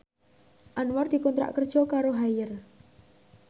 Anwar dikontrak kerja karo Haier